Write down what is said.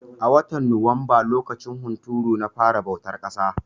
A watan Nuwamba lokacin hunturu na fara bautar ƙasa.